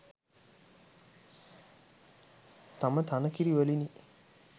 තම තන කිරි වලිනි.